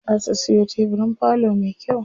Za su siyo tebirin falo me kyau.